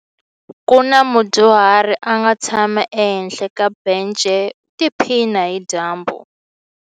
Ku na mudyuhari a nga tshama ehenhla ka bence u tiphina hi dyambu.